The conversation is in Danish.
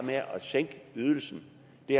at sænke ydelsen